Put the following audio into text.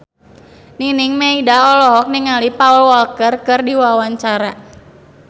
Nining Meida olohok ningali Paul Walker keur diwawancara